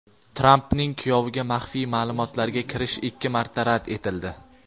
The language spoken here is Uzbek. Trampning kuyoviga maxfiy ma’lumotlarga kirish ikki marta rad etildi.